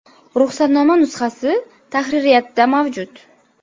(ruxsatnoma nusxasi tahririyatda mavjud).